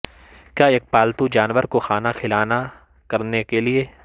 کیا ایک پالتو جانور کو کھانا کھلانا کرنے کے لئے